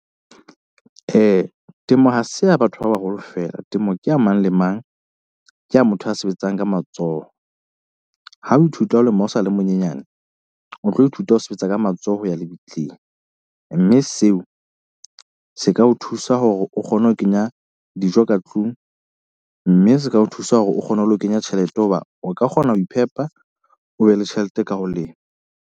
Temo ha se ya batho ba baholo feela, temo ke ya mang le mang. Ke ya motho a sebetsang ka matsoho. Ha o ithuta ho lema o sa le monyenyane, o tlo ithuta ho sebetsa ka matsoho ho ya lebitleng. Mme seo se ka o thusa hore o kgone ho kenya dijo ka tlung, mme se ka o thusa hore o kgone ho lo kenya tjhelete hoba o ka kgona ho iphepa, o be le tjhelete ka ho lema.